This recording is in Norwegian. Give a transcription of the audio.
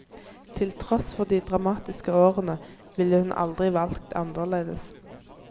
Til tross for de dramatiske årene, ville hun aldri valgt annerledes.